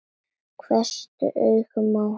Hvessti augun á hann.